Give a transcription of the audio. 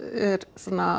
er